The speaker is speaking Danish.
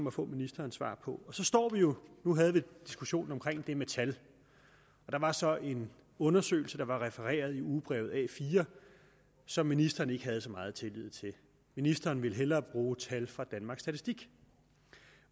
at få ministerens svar på nu havde vi diskussionen om det med tal og der var så en undersøgelse der var refereret i ugebrevet a4 og som ministeren ikke havde så meget tillid til ministeren ville hellere bruge tal fra danmarks statistik